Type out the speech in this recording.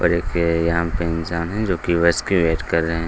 ओर एक ये यहाँ पे इंसान है जो केओस क्रिएट कर रहें हैं |